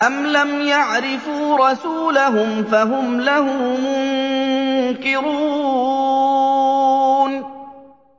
أَمْ لَمْ يَعْرِفُوا رَسُولَهُمْ فَهُمْ لَهُ مُنكِرُونَ